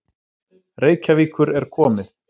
Reykjavíkur er komið.